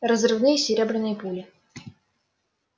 разрывные серебряные пули